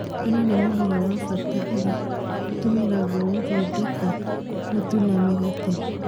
Ngano nĩ mũmera wa bata ũrĩa ũtũmiragwo gũthondeka mũtu na mĩgate.